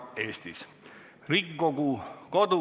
Näiteks on tegemist nakkushaiguse levikust tuleneva hädaolukorraga.